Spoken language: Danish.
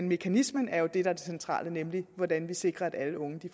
mekanismen er jo det der er det centrale nemlig hvordan vi sikrer at alle unge